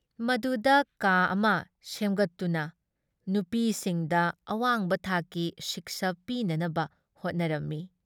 ꯃꯗꯨꯗ ꯀꯥ ꯑꯃ ꯁꯦꯝꯒꯠꯇꯨꯅ ꯅꯨꯄꯤꯁꯤꯡꯗ ꯑꯋꯥꯡꯕ ꯊꯥꯛꯀꯤ ꯁꯤꯛꯁꯥ ꯄꯤꯅꯅꯕ ꯍꯣꯠꯅꯔꯝꯃꯤ ꯫